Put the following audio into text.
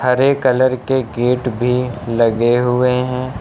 हरे colour के gate भी लगे हुए हैं।